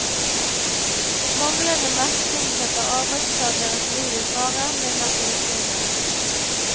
Manglende merking setter arbeidstageres liv i fare, mener tilsynet.